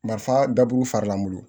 Marifa daburu faralan bolo